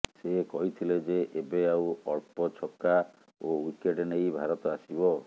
ସେ କହିଥିଲେ ଯେ ଏବେ ଆଉ ଅଳ୍ପ ଛକା ଓ ଓ୍ୱିକେଟ୍ ନେଇ ଭାରତ ଆସିବ